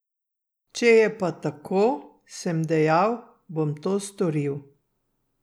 Če je pa tako, sem dejal, bom to storil.